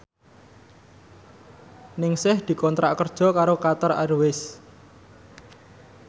Ningsih dikontrak kerja karo Qatar Airways